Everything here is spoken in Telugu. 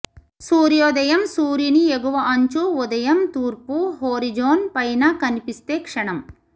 సూర్యోదయం సూర్యుని ఎగువ అంచు ఉదయం తూర్పు హోరిజోన్ పైన కనిపిస్తే క్షణం